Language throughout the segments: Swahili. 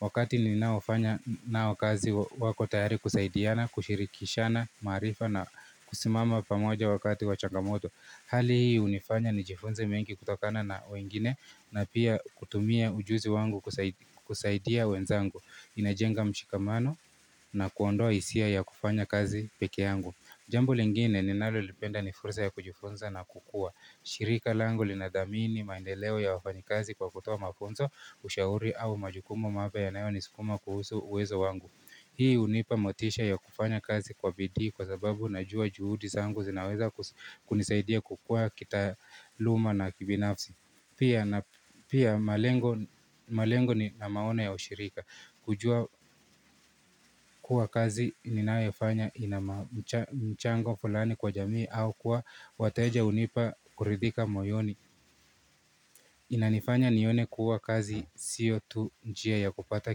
Wakati ni naofanya nao kazi wako tayari kusaidiana, kushirikishana, marifa na kusimama pamoja wakati wachangamoto. Hali hii unifanya ni jifunze mengi kutokana na wengine na pia kutumia ujuzi wangu kusaidia wenzangu. Inajenga mshikamano na kuondoa isia ya kufanya kazi peke yangu Jambo lingine ni nalolipenda ni fursa ya kujifunza na kukua shirika langu linadhamini maendeleo ya wafanyi kazi kwa kutoa mafunzo Ushauri au majukumu mapya ya nayo nisukuma kuhusu uwezo wangu. Hii unipa motisha ya kufanya kazi kwa bidhi kwa sababu na jua juhudi zangu zinaweza kunisaidia kukua kitaluma na kibinafsi Pia na pia malengo na maona ya ushirika kujua. Kuwa kazi ninayofanya inamchango fulani kwa jamii au kuwa wateja unipa kuridhika moyoni. Inanifanya nione kuwa kazi siyo tu njia ya kupata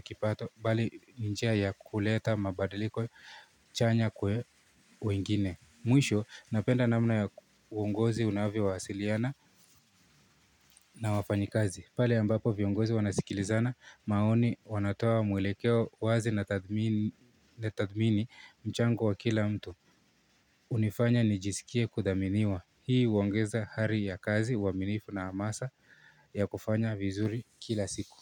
kipato bali njia ya kuleta mabadiliko chanya kwa wengine Mwisho napenda namna ya uongozi unavyo waasiliana. Na wafanyi kazi pale ambapo viongozi wanasikilizana maoni wanatoa mwelekeo wazi na tathmini mchango wa kila mtu. Unifanya nijisikie kudhaminiwa hii uongeza hari ya kazi waminifu na amasa ya kufanya vizuri kila siku.